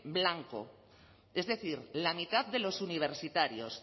blanco es decir la mitad de los universitarios